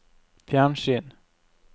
fjernsyn